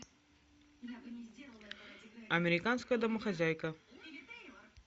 американская домохозяйка